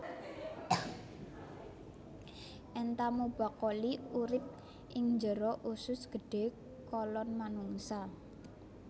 Entamuba coli urip ing jero usus gedhé kolon manungsa